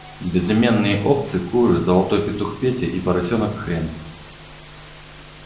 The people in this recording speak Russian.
безымённые овцы куры золотой петух петя и поросёнок хрен